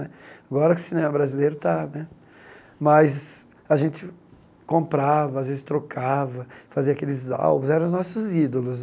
Agora o cinema brasileiro está né, mas a gente comprava, às vezes trocava, fazia aqueles álbuns, eram os nossos ídolos.